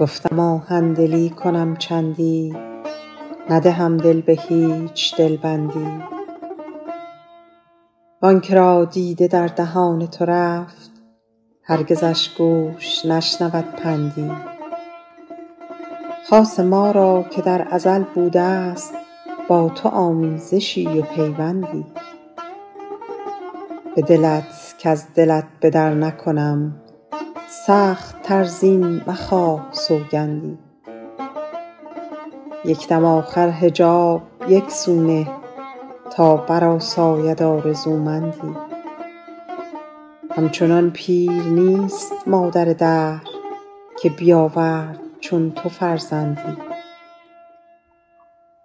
گفتم آهن دلی کنم چندی ندهم دل به هیچ دل بندی وآن که را دیده در دهان تو رفت هرگزش گوش نشنود پندی خاصه ما را که در ازل بوده است با تو آمیزشی و پیوندی به دلت کز دلت به در نکنم سخت تر زین مخواه سوگندی یک دم آخر حجاب یک سو نه تا برآساید آرزومندی همچنان پیر نیست مادر دهر که بیاورد چون تو فرزندی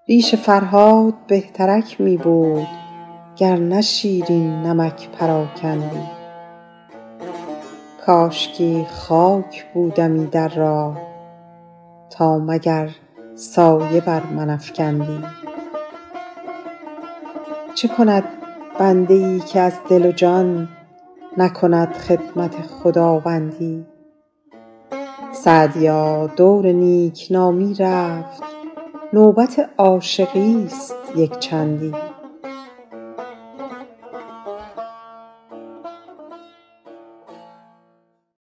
ریش فرهاد بهترک می بود گر نه شیرین نمک پراکندی کاشکی خاک بودمی در راه تا مگر سایه بر من افکندی چه کند بنده ای که از دل و جان نکند خدمت خداوندی سعدیا دور نیک نامی رفت نوبت عاشقی است یک چندی